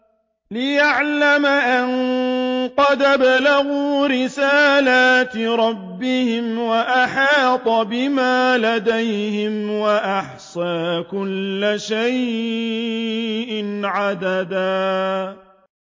لِّيَعْلَمَ أَن قَدْ أَبْلَغُوا رِسَالَاتِ رَبِّهِمْ وَأَحَاطَ بِمَا لَدَيْهِمْ وَأَحْصَىٰ كُلَّ شَيْءٍ عَدَدًا